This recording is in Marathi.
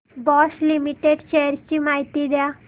बॉश लिमिटेड शेअर्स ची माहिती द्या